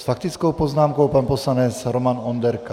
S faktickou poznámkou pan poslanec Roman Onderka.